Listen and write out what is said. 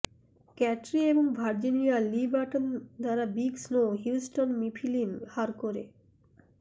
ক্যাটরি এবং Virginia Lee Burton দ্বারা Big Snow Houghton Mifflin Harcourt